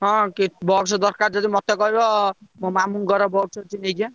ହଁ କି box ଦରକାର ଯଦି ମତେ କହିବ ମୋ ମାମୁଁଙ୍କର box ଅଛି ନେଇଯିବା।